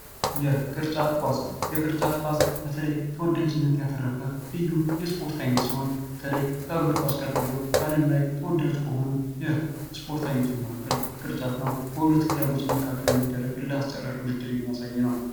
የቅርጫት ኳስ የቅርጫት ኳስ፦ በተለይ ተወዳጅነትን ያተረፈ ልዩ የስፖርት አይነት ሲሆን በተለይ ከእግር ኳስ ቀጥሎ በአለም ላይ ተወዳጅ ከሆኑ የስፖርት አይነቶች መካከል ቅርጫት ነው። በሁለት ክለቦች መካከል የሚደረግ እልህ አስጨራሽ ውድድር የሚያሳይ ነው።